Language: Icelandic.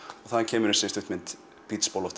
þaðan kemur þessi stuttmynd